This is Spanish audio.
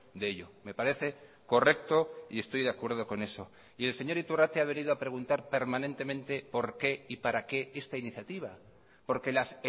de ello me parece correcto y estoy de acuerdo con eso y el señor iturrate ha venido a preguntar permanentemente por qué y para qué esta iniciativa porque las